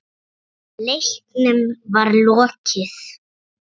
Leiknum var lokið.